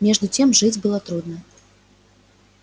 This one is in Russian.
между тем жить было трудно